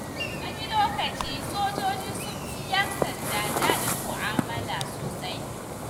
Wani lokacin sojoji sun fi 'yan sanda daɗin mu'amala sosai.